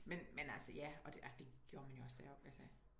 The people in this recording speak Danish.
Men men altså ja og det gjorde man jo også da jeg altså